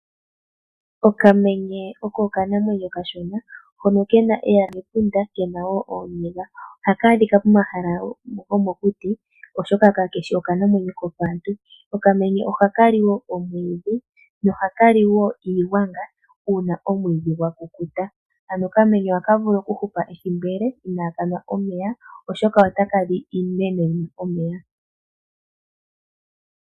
Okamenye oko okanamwenyo okashona hono ke na eyala mepunda, ke na wo ooniga. Ohaka adhika pomahala gomokuti, oshoka kake shi okanamwenyo kopaantu. Okamenye ohaka li omwiidhi nohaka li wo iigwanga uuna omwiidhi gwa kukuta, ano okamenye ohaka vulu okuhupa ethimbo ele inaa ka nwa omeya, oshoka otaka li iimeno yi na omeya.